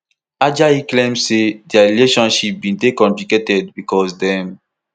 ajayi claim say dia relationship bin dey complicated becos dem